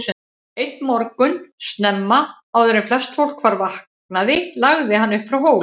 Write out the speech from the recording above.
Einn morgun snemma, áður en flest fólk var vaknaði lagði hann upp frá Hólum.